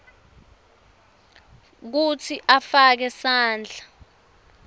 kutsi afake sandla